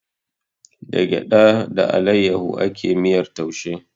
Da gyaɗa da alayyahu ake miyar taushe